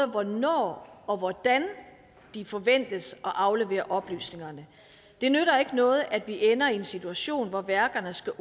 hvornår og hvordan de forventes at aflevere oplysningerne det nytter ikke noget at vi ender i en situation hvor værkerne skal